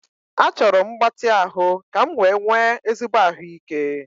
Achọrọ m mgbatị ahụ ka m wee nwee ezigbo ahụike